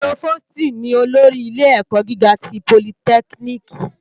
Prófóstì ni ólórì ilé èkò gigá ti pólítèkínìkí